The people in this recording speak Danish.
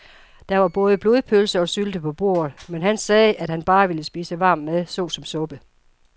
Der var både blodpølse og sylte på bordet, men han sagde, at han bare ville spise varm mad såsom suppe.